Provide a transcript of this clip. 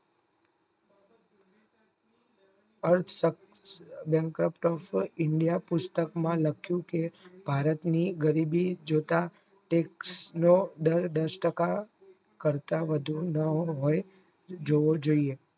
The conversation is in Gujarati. અર્થ બૅનકતક ઇન્ડિયા પુસ્તકમાં લખ્યું કે ભારત ની ગરીબી જોતા તે દર દાસ ટકા કરતા વધુ ન હોવો જોઈએ.